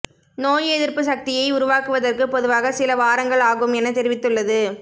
நோய் எதிர்ப்பு சக்தியை உருவாக்குவதற்கு பொதுவாக சில வாரங்கள் ஆகும் என தெரிவித்துள்ளது